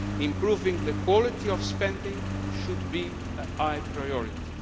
Improving the quality of spending should be a high priority.